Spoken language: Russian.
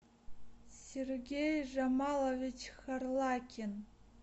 сергей жамалович харлакин